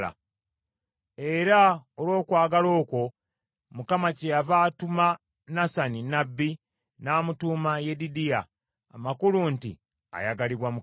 era olw’okwagala okwo, Mukama kyeyava atuma Nasani nnabbi n’amutuuma Yedidiya, amakulu nti ayagalibwa Mukama .